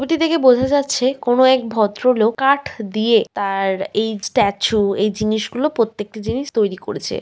ছবিটি দেখে বোঝা যাচ্ছে কোনো এক ভদ্রলোক কাঠ দিয়ে তার এই স্ট্যাচু এই জিনিস গুলো প্রত্যেকটি জিনিস তৈরী করেছে।